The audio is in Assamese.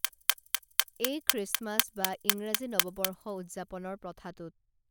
এই খ্ৰীষ্টমাছ বা ইংৰাজী নৱবৰ্ষ উদযাপনৰ প্ৰথাটোত